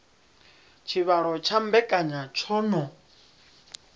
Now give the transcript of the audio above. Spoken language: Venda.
tshivhalo tsha mbekanya tsho no